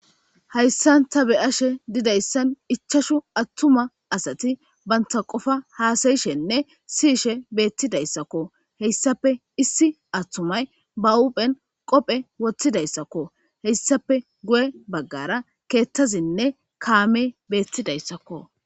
Hayisan ta beashe didaysan ichchasu atuma asati banta qopa hasayishene siyishe betidayisakko heyisappe issi atumay bahophe qophe wotidaysakko heyisappe giyebagara keththazinne kame betizaysakko.